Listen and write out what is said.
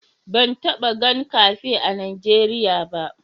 Ban taba gan kafe a'Nijeriya ba.